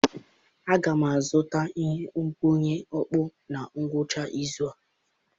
Aga m azụta ihe nkwụnye okpu na ngwụcha izu a.